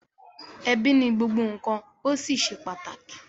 Ebi ni gbogbo nkan o sí ṣe pàtàkì.